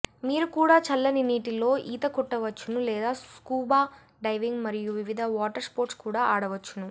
మీరు కూడా చల్లని నీటిలో ఈత కొట్టవచ్చును లేదా స్కూబా డైవింగ్ మరియు వివిధ వాటర్ స్పోర్ట్స్ కూడా ఆడవచ్చును